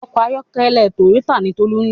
Òkò àyòkèlè tóyótá ni Tolu n ló